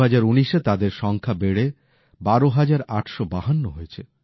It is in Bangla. ২০১৯ এ তাদের সংখ্যা বেড়ে ১২৮৫২ হয়েছে